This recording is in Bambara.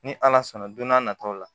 Ni ala sɔnna don n'a nataw la